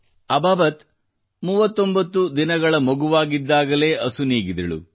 ಅಬಾಬತ್ 39 ದಿನಗಳ ಮಗುವಾಗಿದ್ದಾಗಲೇ ಅಸುನೀಗಿದಳು